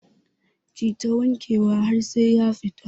Kita wanke wa har sai ya fita